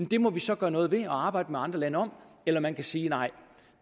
det må vi så gøre noget ved og arbejde med andre lande om eller man kan sige at nej